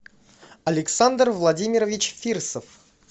александр владимирович фирсов